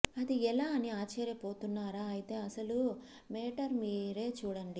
అది ఎలా అని ఆశ్చర్య పోతున్నారా అయితే అసలు మేటర్ మీరే చుడండి